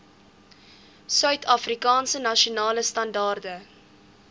suidafrikaanse nasionale standaarde